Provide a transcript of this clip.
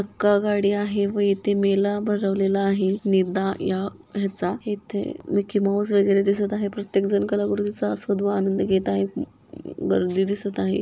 हूकागाडी आहे व इथे मेला भरवलेला आहे नीदा या हेचा इथे मिकी माउस वगैरा दिसत आहे प्रत्येक जन कलाकृती चा आस्वाद व आनंद घेत आहेत गर्दी दिसत आहे.